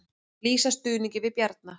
Lýsa stuðningi við Bjarna